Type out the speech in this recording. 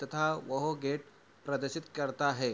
तथा वह गेट प्रदर्शित करता हैं।